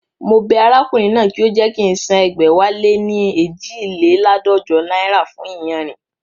Mo bẹ arákùnrin náà kí ó jẹ́ kí ń san ẹgbẹ̀wáléní eejileládọ́jọ náírà fún iyanrìn